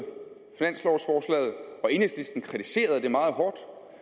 enhedslisten kritiserede det meget hårdt så